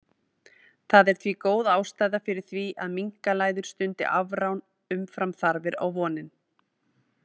Það er því góð ástæða fyrir því að minkalæður stundi afrán umfram þarfir á vorin.